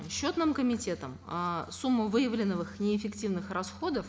счетным комитетом э сумма выявленных неэффективных расходов